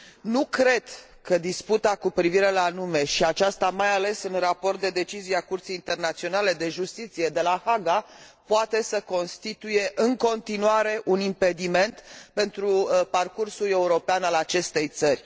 Nu cred că disputa cu privire la nume și aceasta mai ales în raport cu decizia Curții Internaționale de Justiție de la Haga poate să constituie, în continuare, un impediment pentru parcursul european al acestei țări.